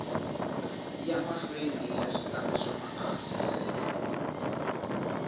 ya mahlweni switandati swa maasesele